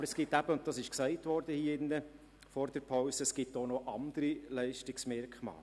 Aber es gibt eben auch noch andere Leistungsmerkmale, wie vor der Pause bereits gesagt wurde.